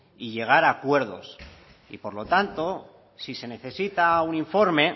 y llegar a acuerdos y por lo tanto si se necesita un informe